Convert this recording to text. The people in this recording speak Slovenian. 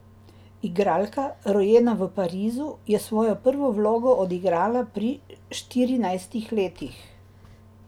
Igralka, rojena v Parizu, je svojo prvo vlogo odigrala pri štirinajstih letih.